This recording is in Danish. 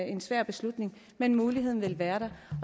en svær beslutning men muligheden vil være der